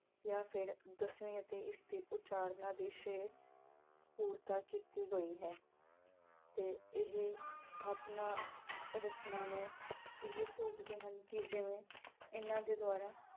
ਜਾ ਫਿਰ ਦਸਵੀ ਅਤੇ ਇਸ ਦੀ ਉਚਾਰਨਾ ਦੇ ਸ਼ੇਅਰ ਪੂਰਤਾ ਕੀਤੀ ਗਈ ਹੈ। ਤੇ ਇਹ ਸਥਾਪਨਾ ਰਚਨਾ ਨੂੰ ਇਹ ਸੋਚਦੇ ਹਨ ਕਿ ਜਿਵੇਂ ਇਹਨਾਂ ਦੇ ਦੁਆਰਾ